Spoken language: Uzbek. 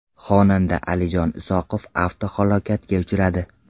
Xonanda Alijon Isoqov avtohalokatga uchradi .